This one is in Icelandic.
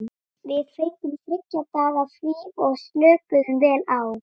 Við fengum þriggja daga frí og slökuðum vel á.